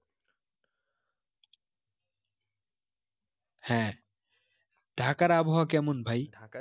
হ্যাঁ ঢাকার আবহাওয়া কেমন ভাই